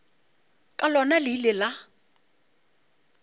ka lona le ile la